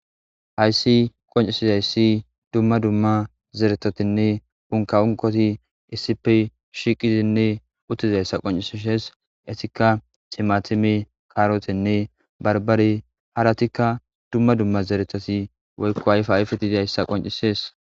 Hayssi qonccissizayssi dumma dumma zereththathinne unkkaa unkkothi issipe shiiqidinne uththizayssa qonccissishes; ethikka thimaathime,kaaroothenne barbbare; harathikka dumma dumma zereththathi woykko ayfaayfeti dizayssa qonccissees.